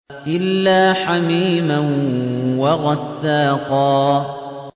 إِلَّا حَمِيمًا وَغَسَّاقًا